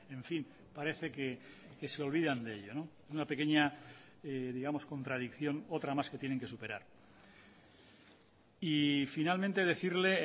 en fin parece que se olvidan de ello una pequeña digamos contradicción otra más que tienen que superar y finalmente decirle